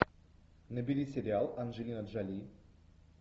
набери сериал анджелина джоли